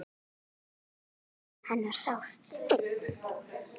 Við söknum hennar sárt.